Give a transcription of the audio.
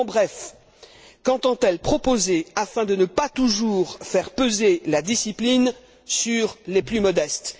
En bref, qu'entend elle proposer afin de ne pas toujours faire peser la discipline sur les plus modestes?